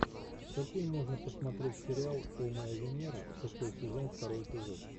какие можно посмотреть сериал о моя венера шестой сезон второй эпизод